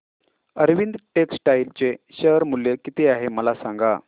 Arvind textile चे share मूल्य किती आहे मला सांगा